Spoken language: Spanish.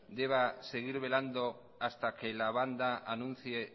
deba seguir velando hasta que la banda anuncie